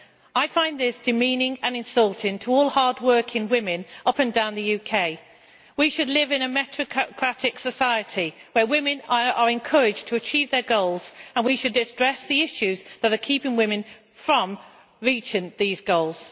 I find this demeaning and insulting to all hard working women up and down the UK. We should live in a meritocratic society where women are encouraged to achieve their goals, and we should address the issues that are keeping women from reaching these goals.